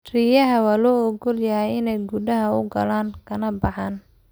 Riyaha waa loo ogol yahay inay gudaha u galaan kana baxaan.